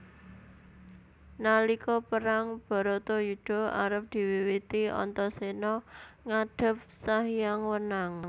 Nalika Perang Baratayudha arep diwiwiti Antaséna ngadhep Sanghyang Wenang